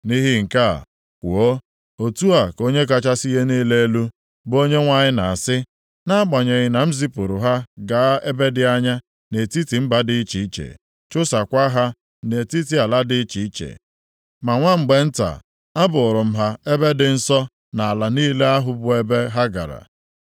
“Nʼihi nke a, kwuo, ‘Otu a ka Onye kachasị ihe niile elu, bụ Onyenwe anyị na-asị, Nʼagbanyeghị na m zipụrụ ha gaa ebe dị anya nʼetiti mba dị iche iche, chụsakwaa ha nʼetiti ala dị iche iche, ma nwa mgbe nta, a bụụrụ m ha ebe dị nsọ nʼala niile ahụ bụ ebe ha gara.’